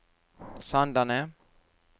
Sandane